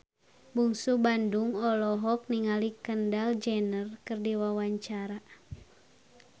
Bungsu Bandung olohok ningali Kendall Jenner keur diwawancara